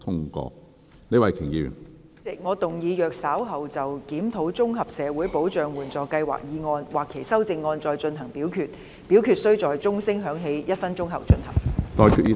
主席，我動議若稍後就"檢討綜合社會保障援助計劃"所提出的議案或修正案再進行點名表決，表決須在鐘聲響起1分鐘後進行。